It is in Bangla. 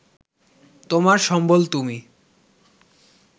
তোমার সম্বল তুমি